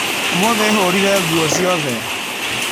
Ũmũthĩ hũrire nguo ciothe